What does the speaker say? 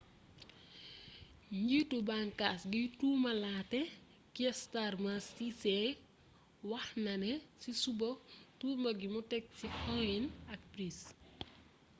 njiitu bànkaas giy tuumalaatee kier starmer qc wax na ne ci suba tuuma gi mu teg ci huhne ak pryce